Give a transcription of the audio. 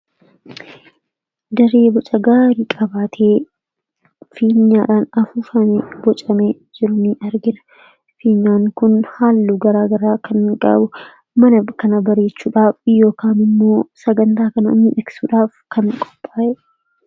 Daree boca gaarii qabaatee , fiinyaadhaan afuufaame bocamee jiru ni argina. Fiinyaan kun haalluu garaa garaa kan gabu, mana kana bareechuudhaaf yookin immoo sagantaa kana miidhagsuudhaaf ,kan qophaa'edha.